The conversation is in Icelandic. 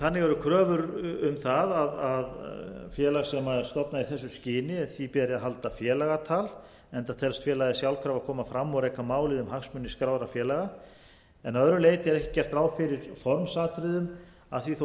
þannig eru kröfur um það að félagi sem verður stofnað í þessu skyni beri að halda félagatal enda telst félagið sjálfkrafa koma fram og reka málið um hagsmuni skráðra félaga að öðru leyti er ekki gert ráð fyrir formsatriðum að því þó gættu að